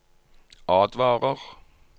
advarer